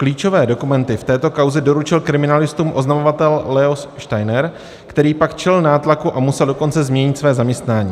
Klíčové dokumenty v této kauze doručil kriminalistům oznamovatel Leo Steiner, který pak čelil nátlaku, a musel dokonce změnit své zaměstnání.